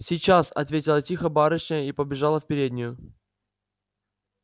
сейчас отвечала тихо барышня и побежала в переднюю